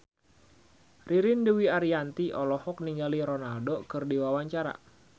Ririn Dwi Ariyanti olohok ningali Ronaldo keur diwawancara